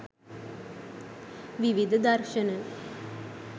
විවිධ දර්ශන